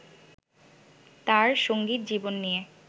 তাঁর সঙ্গীত জীবন নিয়ে